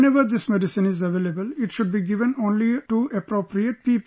Whenever this medicine is available, it should be given only to appropriate people